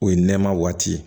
O ye nɛmɛma waati ye